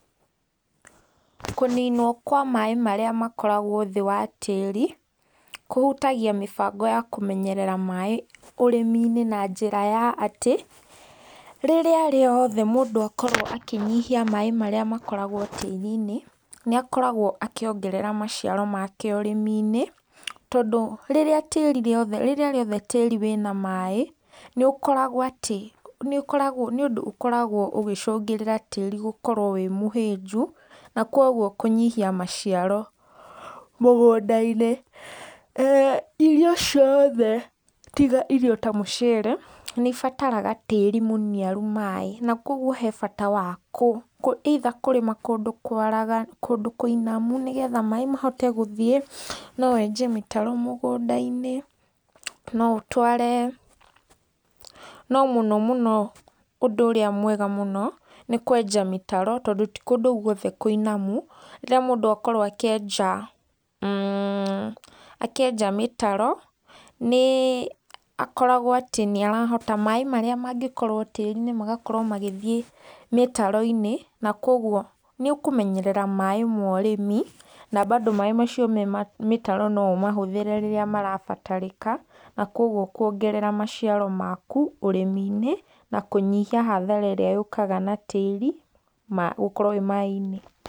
Kũninwo kwa maĩ marĩa makoragwo thĩ wa tĩĩri, kũhutagia mĩbango ya kũmenyerera maĩ ũrĩmi-inĩ na njĩra ya atĩ, rĩrĩa riothe mũndũ akorwo akĩnyihia maĩ marĩa makoragwo tĩĩri-inĩ nĩakoragwo akĩongerera maciaro make ũrĩmi-inĩ, tondũ rĩrĩa rĩothe tĩĩri wĩna maĩ, nĩũndũ ũkoragwo ũgĩcũngĩrĩra tĩĩri gũkorwo wĩ mũhĩnju na koguo kũnyihia maciaro mũgũnda-inĩ, irio cioothe tiga irio ta mũcere nĩibataraga tĩĩri mũniaru maĩĩ na koguo he bata wa eitha kũrĩma kũndũ kũinamu nĩgetha maĩĩ mahote gũthiĩ no wenje mĩtaro mũgũnda-inĩ, no mũno mũno ũndũ ũrĩa mwega mũno nĩ kwenja mĩtaro, tondũ ti kũndũ guothe kũinamu rĩrĩa mũndũ akorwo akĩenja mĩtaro, nĩ akoragwo atĩ nĩarahota maĩ marĩa mangĩkorwo tĩĩri-inĩ magakorwo magĩthiĩ mĩtaro-inĩ, na koguo nĩ ũkũmenyerera maĩ ma ũrĩmi na mbandũ maĩ macio me mĩtaro no ũmahũthĩre rĩrĩa marabatarĩka na kuongerera maciaro maku, ũrĩmi-inĩ na kũnyihia hathara ĩrĩa yũũkaga na tĩĩri gũkorwo wĩ maĩ-inĩ.